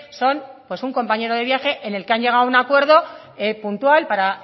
son pues un compañero de viaje en el que han llegado a un acuerdo puntual para